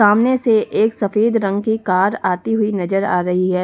सामने से एक सफेद रंग की कार आती हुई नजर आ रही है।